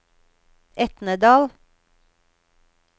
Etnedal